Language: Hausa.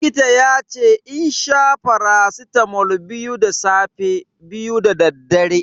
Likita yace in sha faracitamol biyu da safe, biyu dadaddare.